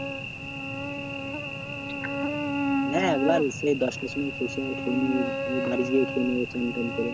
না একবার সেই দশটার সময় খেয়েছি আর খাইনি এই এবার বাড়ি গিয়ে খেয়ে নেবো স্নান টান করে।